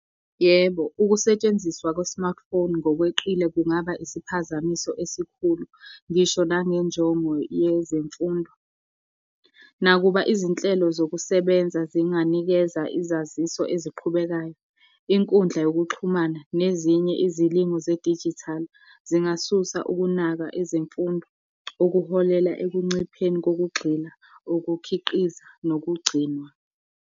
Yebo, ukusetshenziswa kwe-smartphone ngokweqile kungaba isiphazamiso esikhulu, ngisho nangenjongo yezemfundo. Nakuba izinhlelo zokusebenza zinganikeza izaziso eziqhubekayo, inkundla yokuxhumana nezinye izilimu zedijithali, zingasusa ukunaka ezemfundo, ukuholela ekuncipheni kokugxila, ukukhiqiza nokugcinwa.